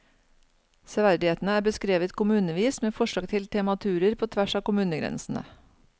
Severdighetene er beskrevet kommunevis med forslag til tematurer på tvers av kommunegrensene.